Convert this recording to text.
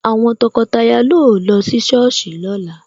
Àwọn tọkọtaya yóò lọ sí Sọ́ọ̀sì lóla